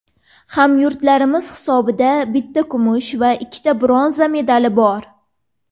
Hamyurtlarimiz hisobida bitta kumush va ikkita bronza medali bor.